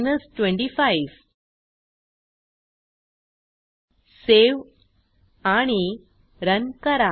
save आणि run करा